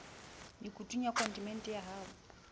mekutung ya kontinente ya ho